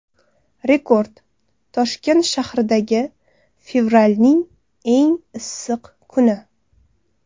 Rekord: Toshkent tarixidagi fevralning eng issiq kuni.